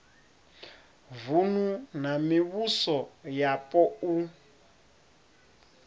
vunu na mivhuso yapo u